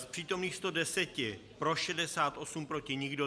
Z přítomných 110 pro 68, proti nikdo.